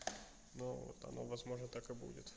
но вот оно возможно так и будет